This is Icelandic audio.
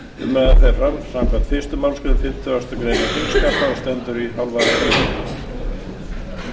umræðan fer fram samkvæmt fyrstu málsgrein fimmtugustu grein þingskapa og stendur